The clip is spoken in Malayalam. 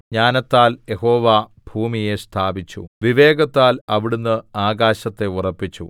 ജ്ഞാനത്താൽ യഹോവ ഭൂമിയെ സ്ഥാപിച്ചു വിവേകത്താൽ അവിടുന്ന് ആകാശത്തെ ഉറപ്പിച്ചു